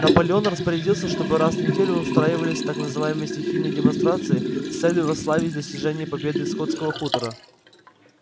наполеон распорядился чтобы раз в неделю устраивались так называемые стихийные демонстрации с целью восславить достижения и победы скотского хутора